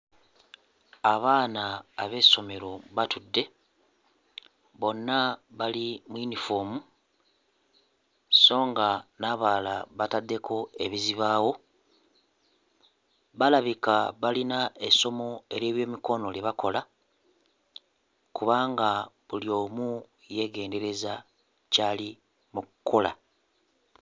Abaana ab'essomero batudde bonna bali mu yinifoomu sso nga n'abalala bataddeko ebizibaawo balabika balina essomo ery'ebyemikono lye bakola kubanga buli omu yeegendereza ky'ali mu kkola.